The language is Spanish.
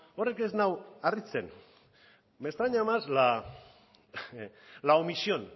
horrek ez nau harritzen me extraña más la omisión